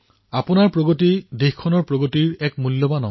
আপোনালোকৰ প্ৰগতি দেশৰ প্ৰগতিৰ এক গুৰুত্বপূৰ্ণ অংশ